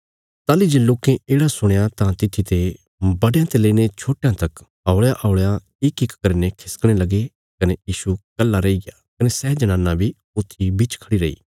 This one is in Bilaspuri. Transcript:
ताहली जे लोकें येढ़ा सुणया तां तित्थी ते बड्डयां ते लेईने छोटयां तक हौल़यांहौल़यां इकइक करीने खिसकणे लगे कने यीशु कल्हा रैहीग्या कने सै जनाना बी ऊत्थी बिच खढ़ी रैई